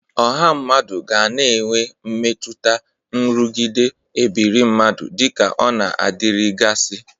Ọha mmadụ ga na-enwe mmetụta nrụgide ebiri mmadụ dịka ọ na-adịrịgasị.